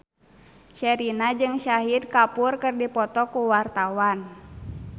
Sherina jeung Shahid Kapoor keur dipoto ku wartawan